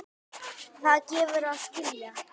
Það gefur að skilja.